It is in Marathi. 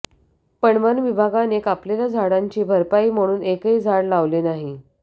पण वनविभागाने कापलेल्या झाडांची भरपाई म्हणून एकही झाड लावले नाही